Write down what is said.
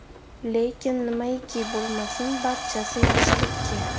Lekin nimaiki bo‘lmasin, barchasi yaxshilikka.